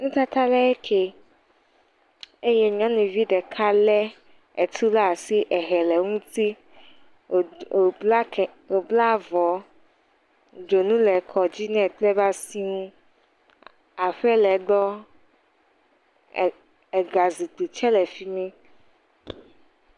Nutata ɖe ke eye nyɔnuvi ɖeka le etu ɖe asi ehɛ le eŋuti. Wod wobla wobla ke wobla avɔ. Dzonu le ekɔ dzi ne kple eƒe asi. Aƒe le egbɔ eg ega zu du tse le fi mi.